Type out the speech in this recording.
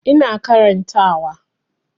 Ina karanta wa